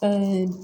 Ɛɛ